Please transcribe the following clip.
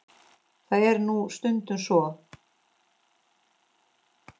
Það er nú stundum svo.